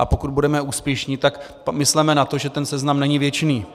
A pokud budeme úspěšní, tak mysleme na to, že ten seznam není věčný.